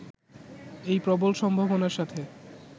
এই প্রবল সম্ভাবনার সাথে